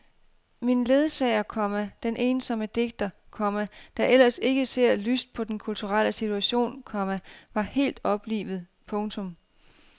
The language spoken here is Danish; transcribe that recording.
Min ledsager, komma den ensomme digter, komma der ellers ikke ser lyst på den kulturelle situation, komma var helt oplivet. punktum